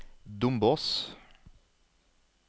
Dombås